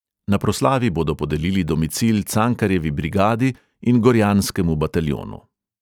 Na proslavi bodo podelili domicil cankarjevi brigadi in gorjanskemu bataljonu.